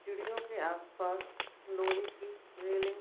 सीडियों के आस-पास लोहे की रेलिंग --